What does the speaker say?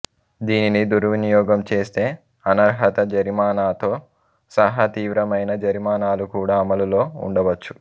దీనిని దుర్వినియోగం చేస్తే అనర్హత జరిమానాతో సహా తీవ్రమైన జరిమానాలు కూడా అమలులో ఉండవచ్చు